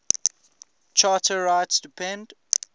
charter rights depend